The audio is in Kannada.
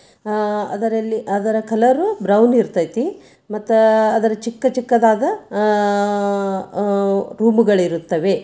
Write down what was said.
ಅದರ ಕಲರು ಬ್ರೌನ್ ಇರತೈತಿ ಮತ್ತೆ ಆದ ಚಿಕ್ಕ ಚಿಕ್ಕದಾದ ಹುಬ್ಬುಗಳು ಇರುತ್ತವೆ